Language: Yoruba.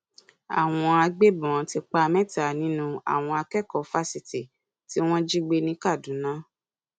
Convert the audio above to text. àwọn agbébọn ti pa mẹta nínú àwọn akẹkọọ fásitì tí wọn jí gbé ní kaduna